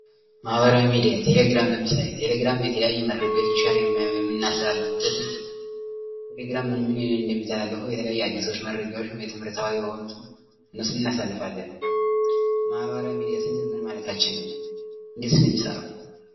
ማህበራዊ ሚዲያ ቴሌግራም ለምሳሌ ቴሌግራም የተለያዩ መረጃዎችን ሼር የሚናስተላልፍበት ነው። ቴሌግራም ምን ምን እንደሚተላለፉ አዳዲስ መረጃዎች የትምህርት የሆኑት ምስል እናሳልፋለን እነሱን እናሳልፋለን ማህበራዊ ሚዲያ ስንል ምን ማለትችን ነው? እንዴትስ ነው የሚሰራው?